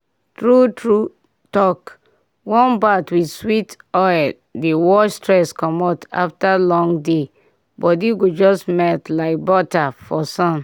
true true talk warm bath with sweet oil dey wash stress commot after long day body go just melt like butter for sun.